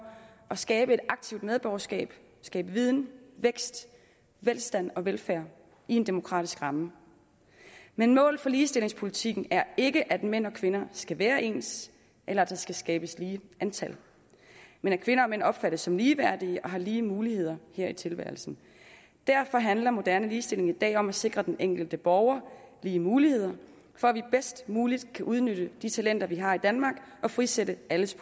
at skabe aktivt medborgerskab skabe viden vækst velstand og velfærd i en demokratisk ramme men målet for ligestillingspolitikken er ikke at mænd og kvinder skal være ens eller at der skal skabes lige antal men at kvinder og mænd opfattes som ligeværdige og har lige muligheder her i tilværelsen derfor handler moderne ligestilling i dag om at sikre den enkelte borger lige muligheder for at vi bedst muligt kan udnytte de talenter vi har i danmark og frisætte alles